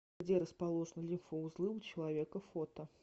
где расположены лимфоузлы у человека фото